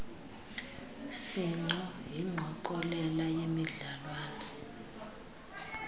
sinxo yingqokelela yemidlalwana